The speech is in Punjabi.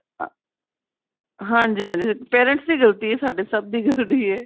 parents ਸੀ ਗਲਤੀ ਏ ਸਾਡੇ ਸਭ ਦੀ ਗਲਤੀ ਏ